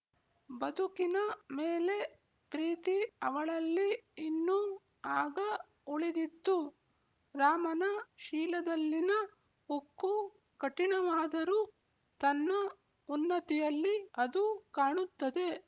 ಬದುಕಿನ ಮೇಲೆ ಪ್ರೀತಿ ಅವಳಲ್ಲಿ ಇನ್ನೂ ಆಗ ಉಳಿದಿತ್ತು ರಾಮನ ಶೀಲದಲ್ಲಿನ ಉಕ್ಕು ಕಠಿಣವಾದರೂ ತನ್ನ ಉನ್ನತಿಯಲ್ಲಿ ಅದು ಕಾಣುತ್ತದೆ